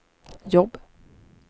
jobb